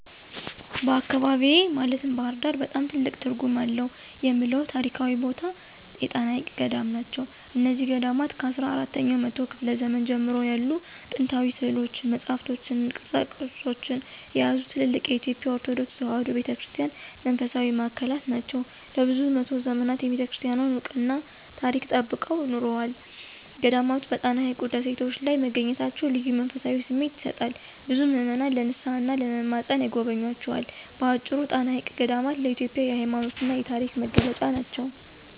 በአካባቢዬ (ባሕር ዳር) በጣም ትልቅ ትርጉም አለው የምለው ታሪካዊ ቦታ የጣና ሐይቅ ገዳማት ናቸው። እነዚህ ገዳማት ከአስራ አራተኛው መቶ ክፍለ ዘመን ጀምሮ ያሉ ጥንታዊ ሥዕሎችን፣ መጻሕፍትንና ቅርሶችን የያዙ ትልልቅ የኢትዮጵያ ኦርቶዶክስ ተዋሕዶ ቤተ ክርስቲያን መንፈሳዊ ማዕከላት ናቸው። ለብዙ መቶ ዘመናት የቤተክርስቲያኗን ዕውቀትና ታሪክ ጠብቀው ኖረዋል። ገዳማቱ በጣና ሐይቅ ደሴቶች ላይ መገኘታቸው ልዩ መንፈሳዊ ስሜት ይሰጣል፤ ብዙ ምዕመናን ለንስሓና ለመማፀን ይጎበኟቸዋል። በአጭሩ፣ ጣና ሐይቅ ገዳማት ለኢትዮጵያ የሃይማኖትና የታሪክ መገለጫ ናቸው።